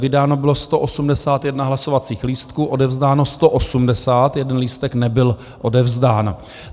Vydáno bylo 181 hlasovacích lístků, odevzdáno 180, jeden lístek nebyl odevzdán.